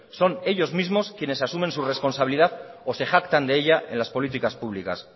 son ellos mismos quienes asumen su responsabilidad o se jactan de ella en las políticas públicas